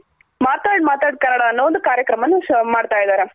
ಮಾತಾಡ್ ಮಾತಾಡ್ ಕನ್ನಡ ಅನ್ನೋ ಒಂದು ಕಾರ್ಯಕ್ರಮನ ಮಾಡ್ತಾಇದಾರೆ